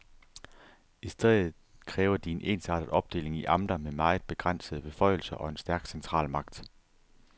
I stedet kræver de en ensartet opdeling i amter med meget begrænsede beføjelser og en stærk centralmagt.